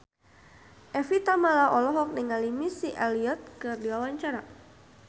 Evie Tamala olohok ningali Missy Elliott keur diwawancara